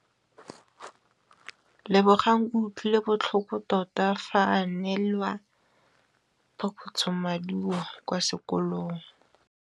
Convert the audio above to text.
Lebogang o utlwile botlhoko tota fa a neelwa phokotsômaduô kwa sekolong.